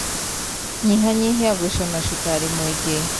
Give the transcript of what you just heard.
Nyihanyihia gũcũna cukari mũingĩ.